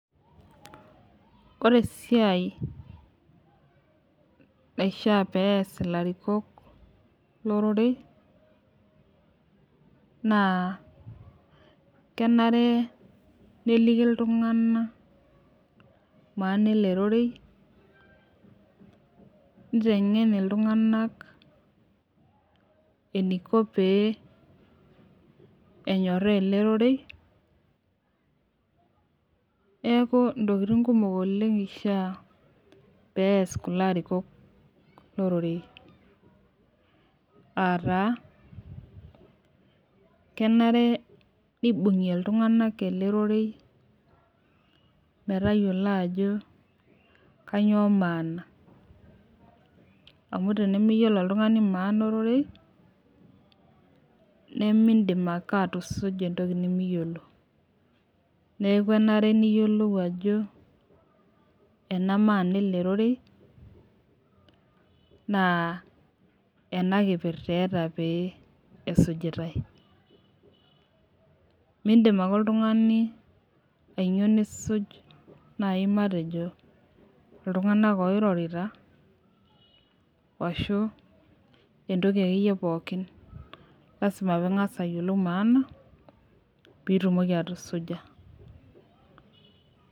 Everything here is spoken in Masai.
Ore siai naishaa peyas ilarikok lororei naa kenare naliki iltungana emaana ele rorei, neitengen iltunganak eneiko pee enyoraa ale rorei, neaku intokitin kumok oleng eishaa peeas kulo larikok lororei, aataa kenare kenare neibung'i iltunganak ale rorei metayolo ajo kanyioo maana amu tenemeyiolo oltungani maana erorei nemiindim ake atusuja entoki nimiyielo, neaku enare nayiolou ajo enamaana ele rorei, naa ena kipirta eeta pee esujutai. Miindim ake iltungani ainyoo nisuj nai metejo iltunganak oirorita ashu entoki ake iyie pookin, lasima piingas ayiolou maana piitumoki atusuja.